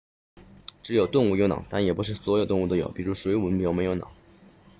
只有动物有脑但也不是所有动物都有比如水母就没有脑